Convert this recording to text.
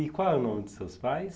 E qual é o nome dos seus pais?